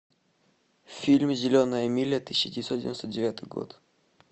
фильм зеленая миля тысяча девятьсот девяносто девятый год